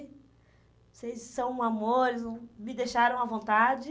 Vocês são um amores, hum, me deixaram à vontade.